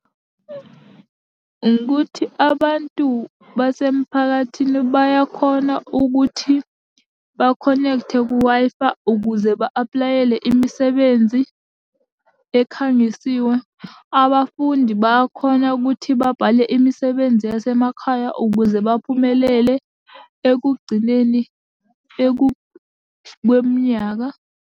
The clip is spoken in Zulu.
Ukuthi abantu basemphakathini bayakhona ukuthi bakhonekthe ku-Wi-Fi ukuze ba-aplayele imisebenzi ekhangisiwe. Abafundi bayakhona ukuthi babhale imisebenzi yasemakhaya ukuze baphumelele ekugcineni kweminyaka.